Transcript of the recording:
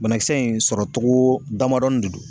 Banakisɛ in sɔrɔcogo damadɔni de don